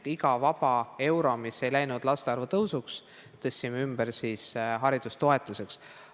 Iga vaba euro, mis ei läinud laste arvu tõusuks, tõstsime ümber haridustoetuseks.